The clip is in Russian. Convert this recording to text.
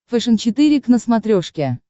фэшен четыре к на смотрешке